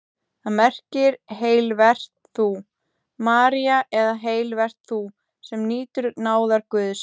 Það merkir: Heil vert þú, María eða Heil vert þú, sem nýtur náðar Guðs.